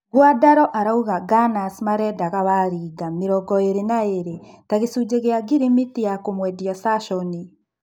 Nguandaro arauga Nganas marendaga Warĩnga, mĩrongoĩrĩ-na-iri, ta-gĩcunje kĩa ngirimiti ya kũmwendia Sashoni.